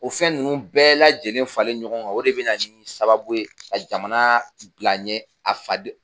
O fɛn ninnu bɛɛ lajɛlen faralen ɲɔgɔn kan o de bɛna ɲini sababu ye ka jamana bila ɲɛ a faden